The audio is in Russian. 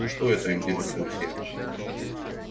а что это интересуюсь я